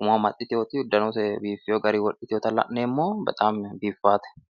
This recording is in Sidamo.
umo amaxxitewoti uddanose biifewo garinni wodhitewota la'neemmo biifawote